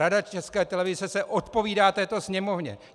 Rada České televize se odpovídá této Sněmovně.